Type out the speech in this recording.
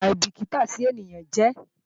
aìbìkítà sí ènìyàn jẹ́